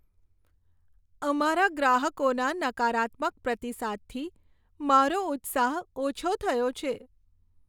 અમારા ગ્રાહકોના નકારાત્મક પ્રતિસાદથી મારો ઉત્સાહ ઓછો થયો છે.